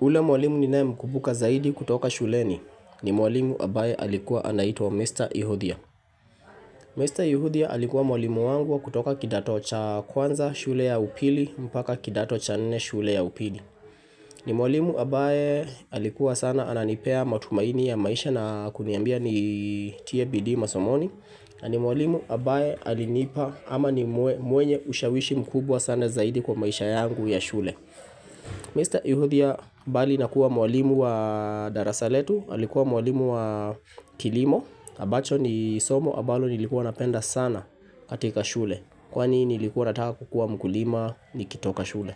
Ule mwalimu ninaye mkumbuka zaidi kutoka shuleni ni mwalimu ambaye alikuwa anaitwa Mr. Yuhudhia. Mr. Yuhudhia alikuwa mwalimu wangu kutoka kidato cha kwanza shule ya upili mpaka kidato cha nne shule ya upili. Ni mwalimu ambaye alikuwa sana ananipea matumaini ya maisha na kuniambia nitie bidii masomoni. Nani mwalimu ambaye alinipa ama ni mwenye ushawishi mkubwa sana zaidi kwa maisha yangu ya shule. Mr. Yuhudhia bali nakuwa mwalimu wa darasa letu, alikuwa mwalimu wa kilimo, ambacho ni somo ambalo nilikuwa napenda sana katika shule, kwani nilikuwa nataka kukuwa mkulima nikitoka shule.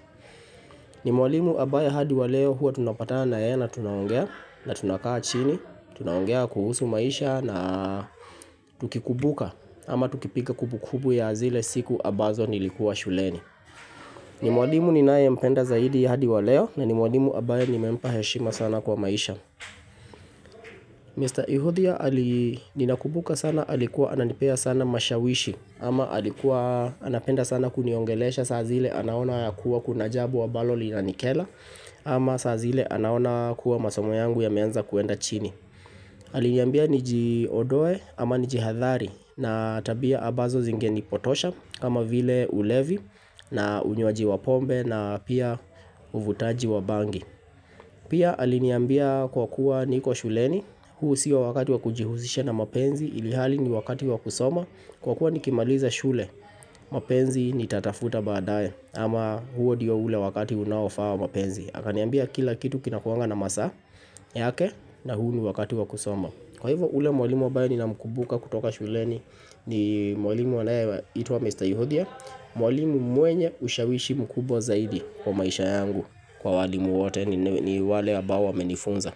Ni mwalimu ambaye hadi wa leo huwa tunapatana na yeye na tunaongea na tunakaa chini, tunaongea kuhusu maisha na tukikumbuka ama tukipiga kumbu kumbu ya zile siku ambazo nilikuwa shuleni. Ni mwalimu ninaye mpenda zaidi hadi wa leo na ni mwalimu ambaye nimempa heshima sana kwa maisha. Mr. Yuhudhia ali ninakumbuka sana alikuwa ananipea sana mashawishi ama alikuwa anapenda sana kuniongelesha saa zile anaona ya kuwa kuna jambo ambalo linanikera ama saa zile anaona kuwa masomo yangu yameanza kuenda chini. Aliniambia nijiondoe ama nijihadhari na tabia ambazo zinge nipotosha kama vile ulevi na unywaji wapombe na pia uvutaji wabangi Pia aliniambia kwa kuwa niko shuleni, huu sio wakati wa kujihusisha na mapenzi ilhali ni wakati wa kusoma Kwa kuwa nikimaliza shule, mapenzi nitatafuta baadae ama huo ndio ule wakati unaofaa mapenzi akaniambia kila kitu kinakuanga na masaa yake na huu ni wakati wa kusoma Kwa hivyo ule mwalimu ambaye ni na mkumbuka kutoka shuleni ni mwalimu anayeitwa Mr. Yuhudhia Mwalimu mwenye ushawishi mkubwa zaidi kwa maisha yangu kwa walimu wote ni wale ambao wamenifunza.